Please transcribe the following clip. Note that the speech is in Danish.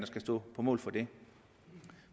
skal stå på mål for det